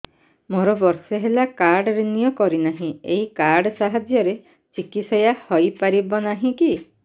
ମୋର ବର୍ଷେ ହେଲା କାର୍ଡ ରିନିଓ କରିନାହିଁ ଏହି କାର୍ଡ ସାହାଯ୍ୟରେ ଚିକିସୟା ହୈ ପାରିବନାହିଁ କି